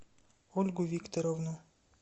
ольгу викторовну